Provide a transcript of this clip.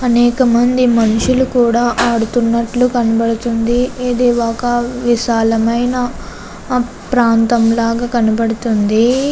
అనేక మంది మనుష్యులు కూడా ఆడుతున్నట్టు కనబడుతుంది. ఇది ఒక విశాలమైన ప్రాంతం లాగా కనబడుతుందీ.